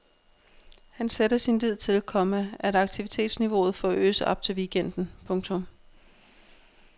Han sætter sin lid til, komma at aktivitetsniveauet forøges op til weekenden. punktum